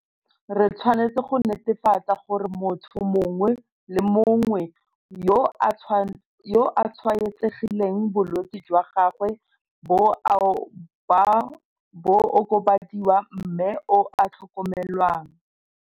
Re tshwanetse go netefatsa gore motho mongwe le mongwe yo a tshwaetsegileng bolwetse jwa gagwe bo a okobadiwa mme o a tlhokomelwa.